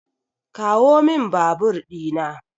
Kawomin babur dina.